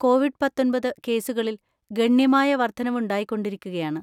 Covid പത്തൊൻപത് കേസുകളിൽ ഗണ്യമായ വർധനവുണ്ടായിക്കൊണ്ടിരിക്കുകയാണ്.